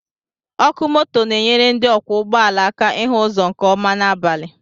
Ọkụ moto na-enyere ndị ọkwọ ụgbọala aka ịhụ ụzọ nke ọma n'abalị